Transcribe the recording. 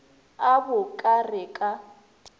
a bo ka re ka